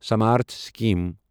Samarth scheme